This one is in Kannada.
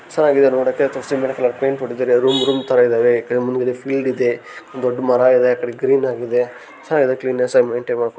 ಸೂಪರ್ ಆಗಿದೆ ನೋಡೋಕೆ ರೂಮ್ ರೂಮ್ ಥರ ಇದೆ ನೋಡೋಕೆ ಮುಂದಾಗಡೆ ಫೀಲ್ಡ್ ಇದೆ ಒಂದು ದೊಡ್ಡ ಮರ ಇದೆ ಗ್ರೀನ್ ಆಗಿದೆ ಚೆನ್ನಾಗಿದೆ ಕ್ಲೀನ್ ಆಗಿದೆ.